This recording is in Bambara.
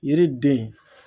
Yiriden.